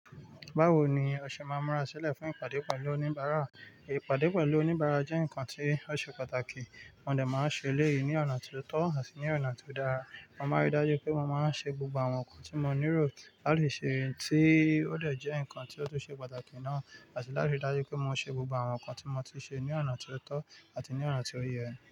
Báwo ni o ṣe máa múra sílẹ̀ fún ìpàdé pẹ̀lú oníbàárà? Ìpàdé pẹ̀lú oníbàárà jẹ́ nǹkan tí ó ṣe pàtàkì, mo dà máa ń ṣe eléyìí ní ọ̀nà tó tọ́ àti ní ọ̀nà tí ó dára. Mo máa ríi dájú pé mo máa ń ṣe gbogbo àwọn nǹkan tí mo nílò láti ṣe, tí ó lè jẹ́ nǹkan tí ó tún ṣe pàtàkì náà, àti láti rí dájú pé mo ṣe gbogbo àwọn nǹkan tí mo ti ṣe ní ọ̀nà tó tọ́ àti ní ọ̀nà tí ó yẹ.